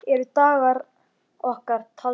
Eru dagar okkar taldir?